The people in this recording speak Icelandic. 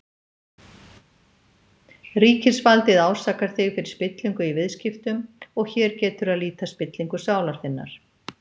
Ríkisvaldið ásakar þig fyrir spillingu í viðskiptum, og hér getur að líta spillingu sálar þinnar.